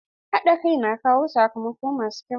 Haɗa kai na kawo sakamako masu kyau.